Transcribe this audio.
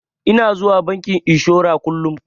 Ina zuwa bankin inshora kullun.